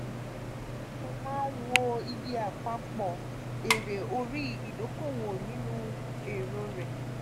o ma n wo iye apapo ere ori idokowo ninu ero re.